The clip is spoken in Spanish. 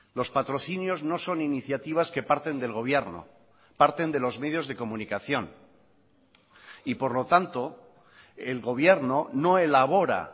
los patrocinios no son iniciativas que parten del gobierno parten de los medios de comunicación y por lo tanto el gobierno no elabora